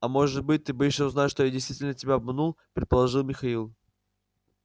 а может быть ты боишься узнать что я действительно тебя обманул предположил михаил